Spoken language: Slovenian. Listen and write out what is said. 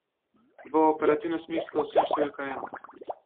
V operativnem smislu sem številka ena.